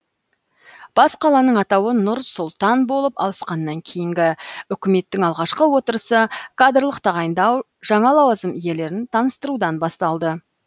бас қаланың атауы нұр сұлтан болып ауысқаннан кейінгі үкіметтің алғашқы отырысы кадрлық тағайындау жаңа лауазым иелерін таныстырудан басталды